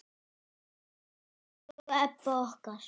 Elsku Ebba okkar.